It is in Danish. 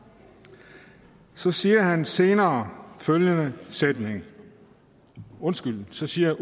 så siger han senere følgende sætning undskyld så siger